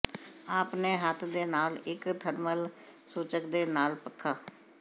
ਆਪਣੇ ਹੱਥ ਦੇ ਨਾਲ ਇੱਕ ਥਰਮਲ ਸੂਚਕ ਦੇ ਨਾਲ ਪੱਖਾ